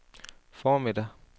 formiddag